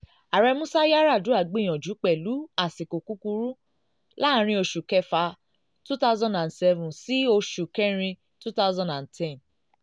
àrẹ músá yar'adua gbìyànjú pẹ̀lú àsìkò kúkurú àsìkò kúkurú láàrin oṣù kẹ́fà two thousand and seven sí oṣù kẹ́rin two thousand and ten.